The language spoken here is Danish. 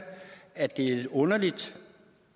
at det er lidt underligt